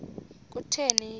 kutheni le nto